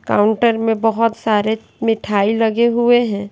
Counter में बहोत सारे मिठाई लगे हुए हैं।